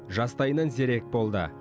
жастайынан зерек болды